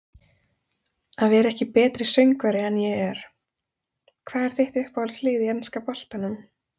Að vera ekki betri söngvari en ég er Hvað er þitt uppáhaldslið í enska boltanum?